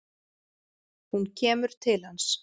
Hún kemur til hans.